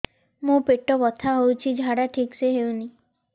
ମୋ ପେଟ ବଥା ହୋଉଛି ଝାଡା ଠିକ ସେ ହେଉନି